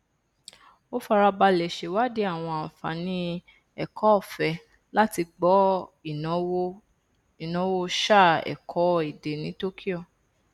ó farabalẹ ṣèwádìí àwọn ànfààní ẹkọọfẹ láti gbọ ìnáwó sáà ẹkọ èdè ní tokyo